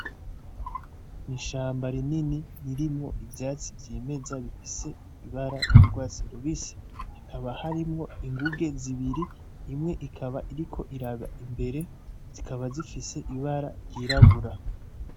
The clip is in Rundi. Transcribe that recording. N'ishamba rinini ririmwo ivyatsi vyimeza bifise ibara ry'urwatsi rubisi, hakaba harimwo inguge zibiri imwe ikaba iriko iraba imbere, zikaba zifise ibara ryirabura.